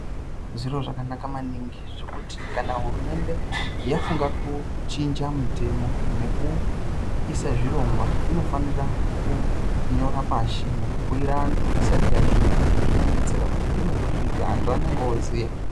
Zviro zvakanaka maningi zvokuti kana hurumende yafunga kuchinja mitemo nekuisa zvirongwa inofanira kunyora pashi nekubhuira antu isati yazviita. Izvi zvinodetsera kuti peinozozviita antu anenge ooziya.